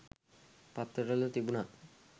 පත්තර වල තිබුණා.